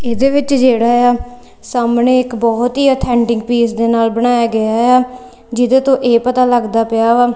ਇਹਦੇ ਵਿੱਚ ਜਿਹੜਾ ਏ ਆ ਸਾਹਮਣੇ ਇੱਕ ਬਹੁਤ ਹੀ ਅਥੈਂਟਿਕ ਪੀਸ ਦੇ ਨਾਲ ਬਣਾਇਆ ਗਿਆ ਏ ਆ ਜਿਹਦੇ ਤੋਂ ਇਹ ਪਤਾ ਲੱਗਦਾ ਪਿਆ ਵਾ--